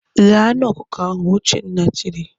"Ghee anụ ọkụkọ ahụ!" Uchenna tiri.